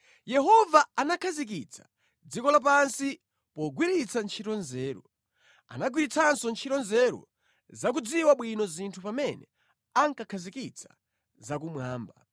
Yehova anakhazikitsa dziko lapansi pogwiritsa ntchito nzeru. Anagwiritsanso ntchito nzeru zakudziwa bwino zinthu pamene ankakhazikitsa zakumwamba.